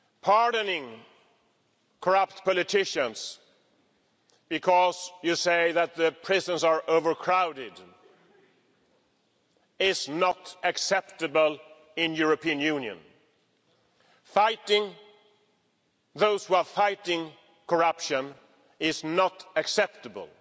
Pardoning corrupt politicians because you say that the prisons are overcrowded is not acceptable in the European Union. Fighting those who are fighting corruption is not acceptable.